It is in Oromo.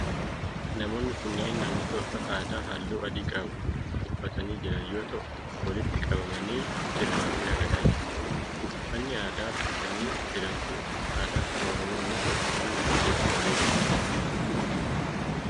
Namoonni kunneen namoota uffata aadaa haalluu adii ta'e qabu quffatanii jiran yoo ta'u, walitti qabamanii sirbaa fi ragadaa jiru. Uffanni aadaa uffatanii jiran kun uffata aadaa saba Oromoo yoo ta'u, uffanni kun hedduu bareedaa dha.